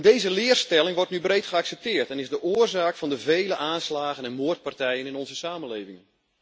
Deze leerstelling wordt nu breed geaccepteerd en is de oorzaak van de vele aanslagen en moordpartijen in onze samenleving.